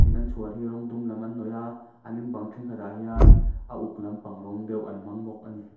tin an chhuar hi rawng dum lam an hnawih a an in bang thenkhatah hian a uk lampang rawng deuh an hmang bawk a ni.